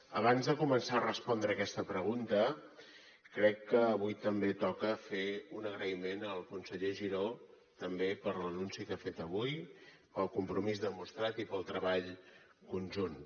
abans de començar a respondre aquesta pregunta crec que avui també toca fer un agraïment al conseller giró també per l’anunci que ha fet avui pel compromís demostrat i pel treball conjunt